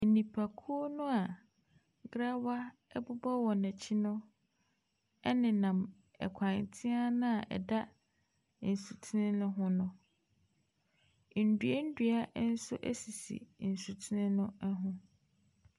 Nnipakuo no a grawa bobɔ wɔn akyi no nenam kwan tea no a ɛda nsuten no ho no. nnua nnua nso sisi nsutene no ho.